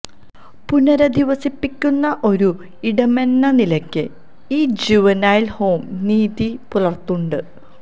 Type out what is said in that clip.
പുനരധിവസിപ്പിക്കുന്ന ഒരു ഇടമെന്ന നിലക്ക് ഈ ജുവനൈൽ ഹോം നീതി പുലർത്തുണ്ട്